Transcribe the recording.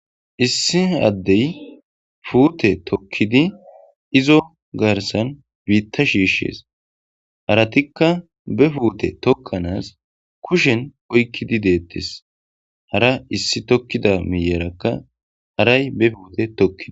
Issi addey puute tokkidi izo garsan biitta shiishshees haratikka be puute tokkanaas kushen oykkidi deettes hara issi tokkida miiyerakka haray be fuute tokkidi.